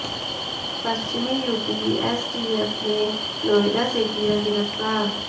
पश्चिमी UP STF ने नोएडा से किया गिरफ्तार